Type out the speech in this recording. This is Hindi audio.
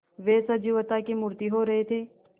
वे सजीवता की मूर्ति हो रहे थे